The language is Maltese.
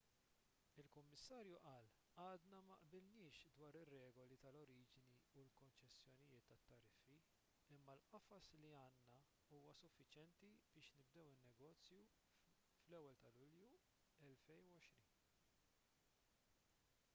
il-kummissarju qal għadna ma qbilniex dwar ir-regoli tal-oriġini u l-konċessjonijiet tat-tariffi imma l-qafas li għandna huwa suffiċjenti biex nibdew in-negozju fl-1 ta' lulju 2020